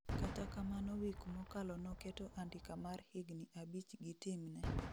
Kata kamano wik mokalo noketo andika mar higni abich gi team ne